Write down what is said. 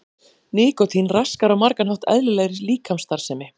Nikótín raskar á margan hátt eðlilegri líkamsstarfsemi.